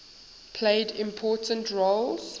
played important roles